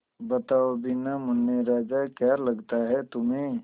बताओ भी न मुन्ने राजा क्या लगता है तुम्हें